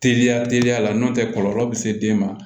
Teliya teliya la n'o tɛ kɔlɔlɔ be se den ma